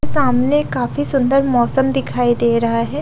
सामने काफी सुंदर मौसम दिखाई दे रहा है।